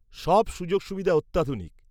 সব সুযোগ সুবিধা অত্যাধুনিক।